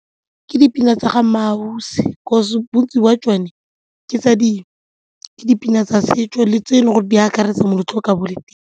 Ke dipina tsa ga MmaAusi 'cause bontsi jwa tsone ke dipina tsa setso le tse e leng gore di akaretsa moletlo o ka .